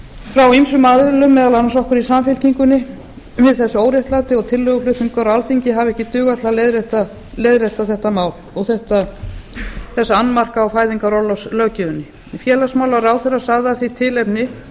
frá ýmsum aðilum meðal annars okkur í samfylkingunni við þessu óréttlæti og tillöguflutningur á alþingi hafi ekki dugað til að leiðrétta þetta mál og þessa annmarka á fæðingarorlofslöggjöfinni félagsmálaráðherra sagði af því tilefni